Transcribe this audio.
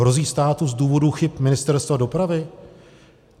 Hrozí státu z důvodu chyb Ministerstva dopravy?